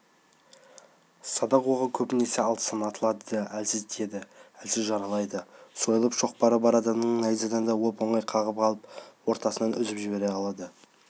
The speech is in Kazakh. садақ оғы көбінесе алыстан атылады да әлсіз тиеді әлсіз жаралайды сойыл-шоқпары бар адам найзаны да оп-оңай қағып қалып ортасынан үзіп жібере алады